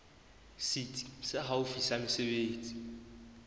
setsi se haufi sa mesebetsi